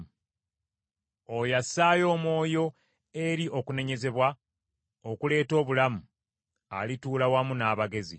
Oyo assaayo omwoyo eri okunenyezebwa okuleeta obulamu, alituula wamu n’abagezi.